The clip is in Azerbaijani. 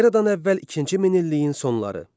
Eradan əvvəl ikinci minilliyin sonları.